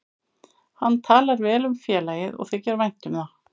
Hann talar vel um félagið og þykir vænt um það.